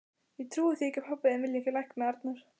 Ég trúi því ekki að pabbi vilji ekki lækna Arnar.